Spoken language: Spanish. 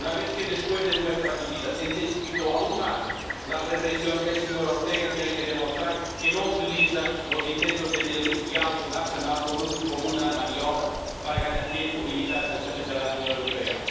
Una vez que, después de nuestra visita, se intensificó aún más la represión, el señor Ortega tiene que demostrar que no utiliza los intentos de diálogo nacional como una maniobra para ganar tiempo y evitar sanciones de la Unión Europea.